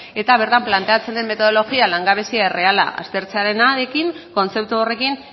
eta bertan planteatzen den metodologia langabezi erreala aztertzearekin kontzeptu horrekin